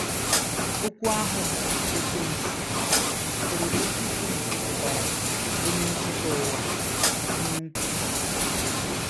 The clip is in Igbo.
Okwu ahụ bụ́ “Ekwensu” sitere n’okwu Grik pụtara “ onye nkwutọ ụgha ,”“ onye nkwutọ.